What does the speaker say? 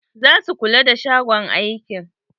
Za su kula da shagon aikin.